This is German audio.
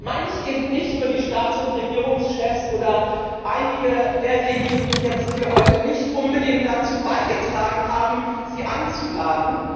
Damit meine ich eben nicht nur die Staats und Regierungschefs oder einige derjenigen, die jetzt hier heute nicht unbedingt dazu beigetragen haben, Sie einzuladen.